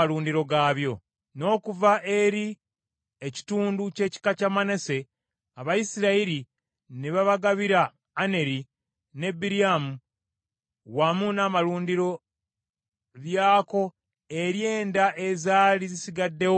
N’okuva eri ekitundu ky’ekika kya Manase, Abayisirayiri ne babagabira Aneri ne Biryamu, wamu n’amalundiro byako eri enda ezaali zisigaddewo eza Kokasi.